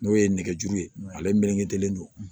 N'o ye nɛgɛjuru ye ale melekelen don